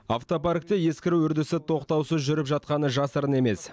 автопаркте ескіру үрдісі тоқтаусыз жүріп жатқаны жасырын емес